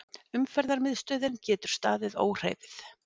Umferðarmiðstöðin getur staðið óhreyfð